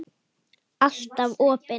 Alltaf opin.